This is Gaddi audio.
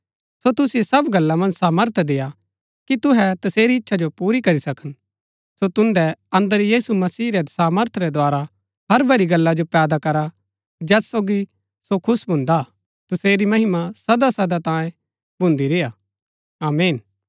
सो तुसिओ सब गल्ला मन्ज सामर्थ देय्आ कि तुहै तसेरी इच्छा जो पुरा करी सकन सो तुन्दै अन्दर यीशु मसीह रै सामर्थ रै द्धारा हर भली गल्ला जो पैदा करा जैत सोगी सो खुश भून्दा हा तसेरी महिमा सदासदा तांये भून्दी रेय्आ आमीन